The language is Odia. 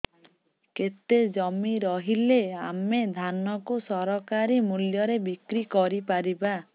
କେତେ ଜମି ରହିଲେ ଆମେ ଧାନ କୁ ସରକାରୀ ମୂଲ୍ଯରେ ବିକ୍ରି କରିପାରିବା